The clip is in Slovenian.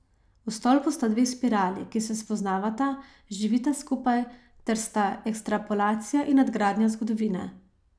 V stolpu sta dve spirali, ki se spoznavata, živita skupaj ter sta ekstrapolacija in nadgradnja zgodovine.